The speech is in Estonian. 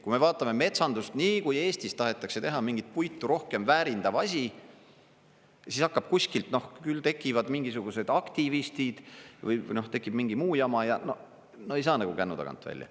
Kui me vaatame metsandust – nii kui Eestis tahetakse teha mingit puitu rohkem väärindav asi, siis hakkab kuskilt, küll tekivad mingisugused aktivistid või tekib mingi muu jama, ja no ei saa nagu kännu tagant välja.